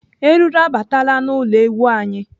Eruru abataala n'ụlọ ewu anyị.